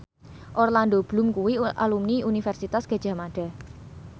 Orlando Bloom kuwi alumni Universitas Gadjah Mada